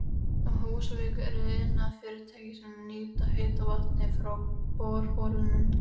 Á Húsavík eru iðnfyrirtæki sem nýta heita vatnið frá borholunum.